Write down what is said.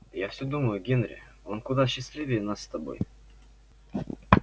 я все думаю генри он куда счастливее нас с тобой